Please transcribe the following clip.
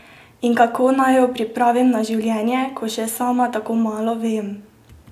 In kako naj jo pripravim na življenje, ko še sama tako malo vem?